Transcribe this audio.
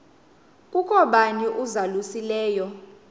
kukho bani uzalusileyo